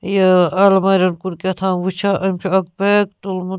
یہِ اَلمارٮ۪ن کُن کہتام وُچھان أمۍ چُھ اکھ بیگ تُلمُت